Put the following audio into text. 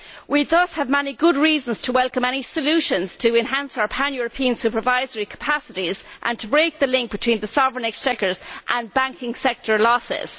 We thus have many good reasons to welcome any solutions to enhance our pan European supervisory capacities and to break the link between the sovereign exchequers and banking sector losses.